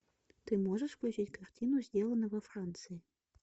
ты можешь включить картину сделано во франции